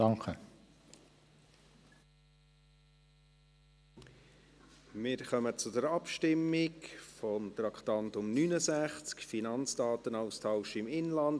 Wir kommen zur Abstimmung über das Traktandum 69, «Finanzdatenaustausch im Inland».